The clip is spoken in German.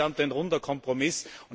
Insgesamt ein runder Kompromiss.